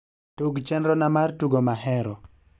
tug chenrona mar tugo mahero